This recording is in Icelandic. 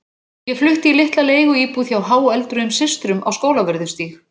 Ég flutti í litla leiguíbúð hjá háöldruðum systrum á Skólavörðu stíg.